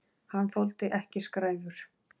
Hann þoldi ekki skræfur.